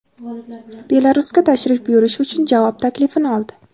Belarusga tashrif buyurish uchun javob taklifini oldi.